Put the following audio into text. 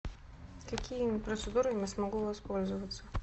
какими процедурами я смогу воспользоваться